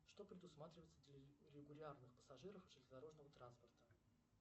что предусматривается для регулярных пассажиров железнодорожного транспорта